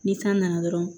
Ni kan nana dɔrɔn